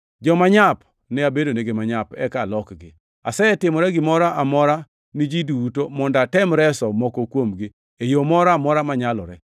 Joma nyap ne abedonegi manyap eka alokgi. Asetimora gimoro amora ni ji duto mondo atem reso moko kuomgi e yo moro amora manyalore.